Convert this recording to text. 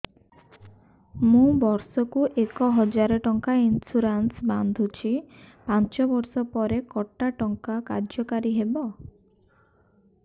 ମୁ ବର୍ଷ କୁ ଏକ ହଜାରେ ଟଙ୍କା ଇନ୍ସୁରେନ୍ସ ବାନ୍ଧୁଛି ପାଞ୍ଚ ବର୍ଷ ପରେ କଟା ଟଙ୍କା କାର୍ଯ୍ୟ କାରି ହେବ